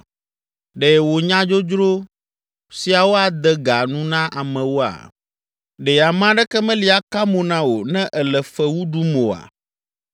Ɖe wò nya dzodzro siawo ade ga nu na amewoa? Ɖe ame aɖeke meli aka mo na wò ne èle fewu ɖum oa?